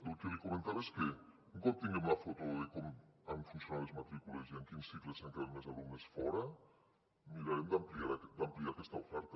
el que li comentava és que un cop tinguem la foto de com han funcionat les matrícules i en quins cicles n’han quedat més alumnes fora mirarem d’ampliar aquesta oferta